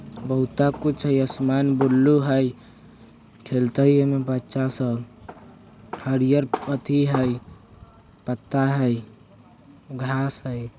बहुता कुछ हय असमान बुलु हय खेलते ए में बच्चा सब हरियर अथि हय पत्ता हय घास हय।